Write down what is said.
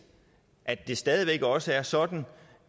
at det stadig væk også er sådan